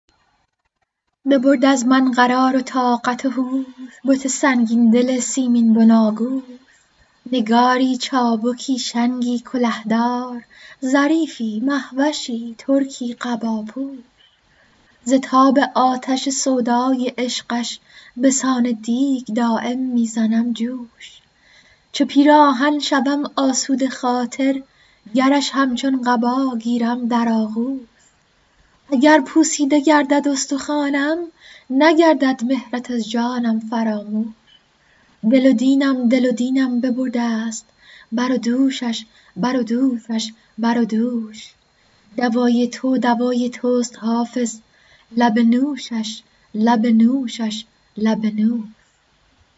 ببرد از من قرار و طاقت و هوش بت سنگین دل سیمین بناگوش نگاری چابکی شنگی کله دار ظریفی مه وشی ترکی قباپوش ز تاب آتش سودای عشقش به سان دیگ دایم می زنم جوش چو پیراهن شوم آسوده خاطر گرش همچون قبا گیرم در آغوش اگر پوسیده گردد استخوانم نگردد مهرت از جانم فراموش دل و دینم دل و دینم ببرده ست بر و دوشش بر و دوشش بر و دوش دوای تو دوای توست حافظ لب نوشش لب نوشش لب نوش